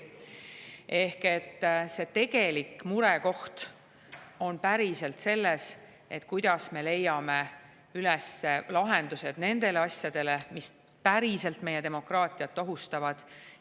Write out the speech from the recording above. Ehk see tegelik murekoht on selles, kuidas me leiame lahendused nendele, mis päriselt meie demokraatiat ohustavad.